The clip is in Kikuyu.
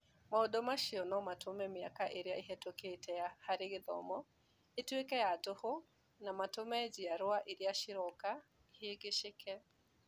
Maũndũ macio no matũme mĩaka ĩrĩa ĩhĩtũkĩte harĩ gĩthomo ĩtuĩke ya tũhũ na matũme njiarũa iria iroka ihĩngĩcĩke.